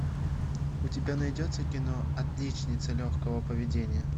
у тебя найдется кино отличница легкого поведения